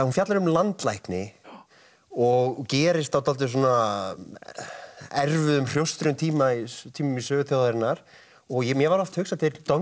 hún fjallar um landlækni og gerist á dálítið erfiðum hrjóstrugum tímum í tímum í sögu þjóðarinnar og mér var oft hugsað til don